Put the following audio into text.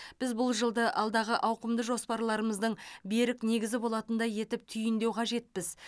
біз бұл жылды алдағы ауқымды жоспаларымыздың берік негізі болатындай етіп түйіндеу қажетпіз